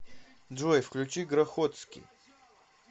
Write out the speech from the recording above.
джой включи грохотский